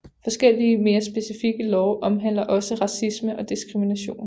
Forskellige mere specifikke love omhandler også racisme og diskrimination